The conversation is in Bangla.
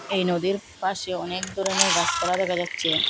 এই নদীর পাশে অনেক ধরনের গাসপালা দেখা যাচ্ছে।